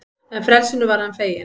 En frelsinu var hann feginn.